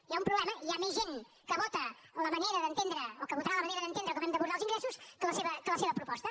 hi ha un problema hi ha més gent que vota la manera d’entendre o que votarà la manera d’entendre com hem d’abordar els ingressos que la seva proposta